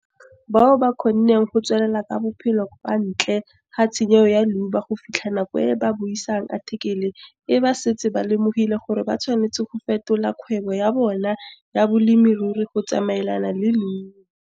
Bao ba ba kgonneng go tswelela ka bophelo kwa ntle ga tshenyego ya leuba go fitlha nako e ba buisang athikele e ba setse ba lemogile gore ba tshwanetse go fetola kgwebo ya bona ya bolemirui go tsamaelana le leuba.